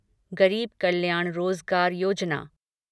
गरीब कल्याण रोजगार योजना